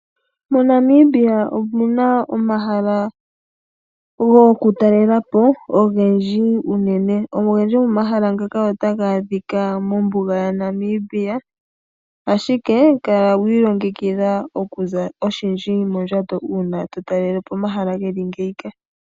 MoNamibia omuna omahala gokutalelapo ogendji unene. Ogendji gomomahala ngaka otaga adhika mombuga yaNamibia, ashike kala wiilongekidha oku za oshindji mondjato uuna to talelepo omahala geli ngeyika.